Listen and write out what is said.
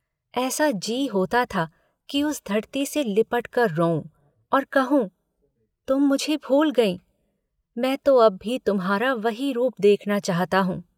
ऐसा जी होता था कि उस धरती से लिपट कर रोऊँ और कहूँ तुम मुझे भूल गई मैं तो अब भी तुम्हारा वही रूप देखना चाहता हूँ।